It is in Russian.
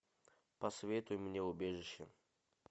посоветуй мне убежище